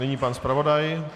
Nyní pan zpravodaj.